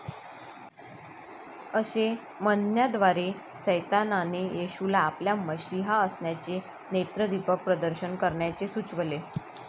असे म्हणण्याद्वारे सैतानाने येशूला आपल्या मशीहा असण्याचे नेत्रदीपक प्रदर्शन करण्याचे सुचवले.